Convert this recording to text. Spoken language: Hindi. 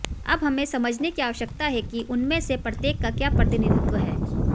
अब हमें समझने की आवश्यकता है कि उनमें से प्रत्येक का क्या प्रतिनिधित्व है